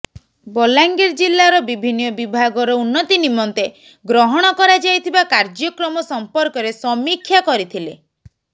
ବଲାଙ୍ଗୀର ଜିଲ୍ଲାର ବିଭିନ୍ନ ବିଭାଗର ଉନ୍ନତି ନିମନ୍ତେ ଗ୍ରହଣ କରାଯାଇଥିବା କାର୍ଯ୍ୟକ୍ରମ ସମ୍ପର୍କରେ ସମୀକ୍ଷା କରିଥିଲେ